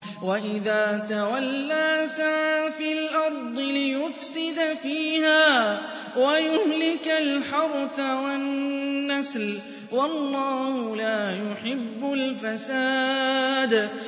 وَإِذَا تَوَلَّىٰ سَعَىٰ فِي الْأَرْضِ لِيُفْسِدَ فِيهَا وَيُهْلِكَ الْحَرْثَ وَالنَّسْلَ ۗ وَاللَّهُ لَا يُحِبُّ الْفَسَادَ